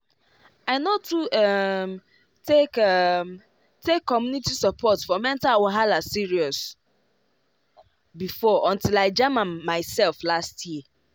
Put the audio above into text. i no too um take um take community support for mental wahala serious before until i jam am myself last year